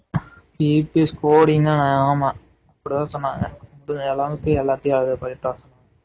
EPS coding ஆஹ் ஆமா அப்படி தான் சொன்னாங்க எல்லாமே எல்லாத்தையும் அத பண்ணிட்டு வர சொன்னாங்க